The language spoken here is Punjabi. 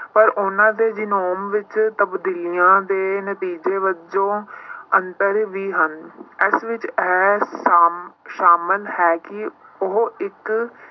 ਪਰ ਉਹਨਾਂ ਦੇ ਜਿਨੋਮ ਵਿੱਚ ਤਬਦੀਲੀਆਂ ਦੇ ਨਤੀਜੇ ਵਜੋਂ ਅੰਤਰ ਵੀ ਹਨ ਇਸ ਵਿੱਚ ਹੈ ਸਾਮ~ ਸਾਮਲ ਹੈ ਕਿ ਉਹ ਇੱਕ